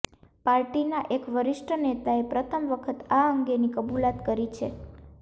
પાર્ટીના એક વરિષ્ઠ નેતાએ પ્રથમ વખત આ અંગેની કબુલાત કરી છે